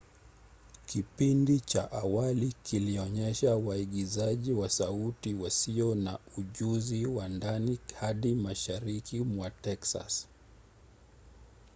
kipindi cha awali kilionyesha waigizaji wa sauti wasio na ujuzi wa ndani hadi mashariki mwa texas